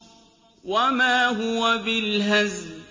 وَمَا هُوَ بِالْهَزْلِ